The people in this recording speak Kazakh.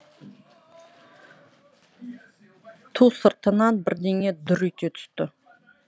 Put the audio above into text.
ту сыртынан бірдеңе дүр ете түсті